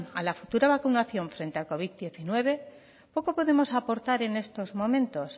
a la futura vacunación frente al covid diecinueve poco podemos aportar en estos momentos